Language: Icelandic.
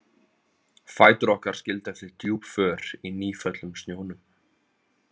Fætur okkar skildu eftir djúp för í nýföllnum snjónum.